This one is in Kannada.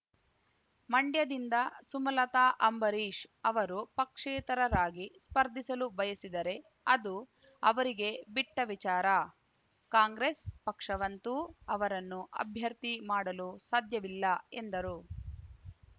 ಮಂ‌ಡ್ಯದಿಂದ ಸುಮಲತಾ ಅಂಬರೀಶ್ ಅವರು ಪಕ್ಷೇತರರಾಗಿ ಸ್ಪರ್ಧಿಸಲು ಬಯಸಿದರೆ ಅದು ಅವರಿಗೆ ಬಿಟ್ಟ ವಿಚಾರ ಕಾಂಗ್ರೆಸ್ ಪಕ್ಷವಂತೂ ಅವರನ್ನು ಅಭ್ಯರ್ಥಿ ಮಾಡಲು ಸಾಧ್ಯವಿಲ್ಲ ಎಂದರು